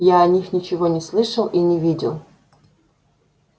я о них ничего не слышал и не видел